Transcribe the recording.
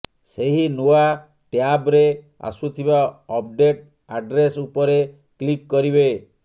ସେହି ନୂଆ ଟ୍ୟାବ୍ରେ ଆସୁଥିବା ଅପ୍ଡେଟ୍ ଆଡ୍ରେସ୍ ଉପରେ କ୍ଲିକ୍ କରିବେ